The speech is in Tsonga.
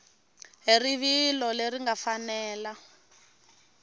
hi rivilo leri nga fanela